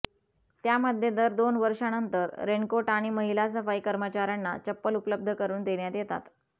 त्यामध्ये दर दोन वर्षानंतर रेनकोट आणि महिला सफाई कर्मचाऱ्यांना चप्पल उपलब्ध करून देण्यात येतात